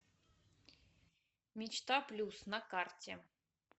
мечта плюс на карте